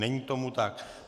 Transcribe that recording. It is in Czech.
Není tomu tak.